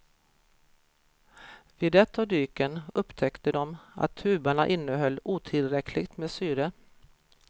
Vid ett av dyken upptäckte de att tubarna innehöll otillräckligt med syre.